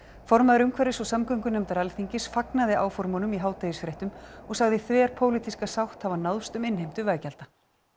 formaður umhverfis og samgöngunefndar Alþingis fagnaði áformunum í hádegisfréttum og sagði þverpólitíska sátt hafa náðst um innheimtu veggjalda